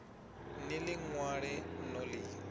ni ḽi ṅwale no ḽi